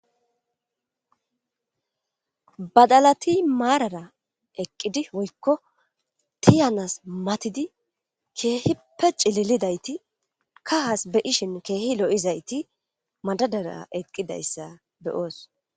Badalati marara eqidi woyko tiyanas matidi kehipe c'lilidayti kahas be'ishin kehi lo'zayti madadara eqidaysa be'os.